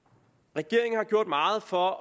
regeringen har gjort meget for